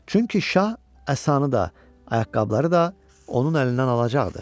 Çünki şah əsanı da, ayaqqabıları da onun əlindən alacaqdı.